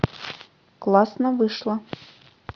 классно вышло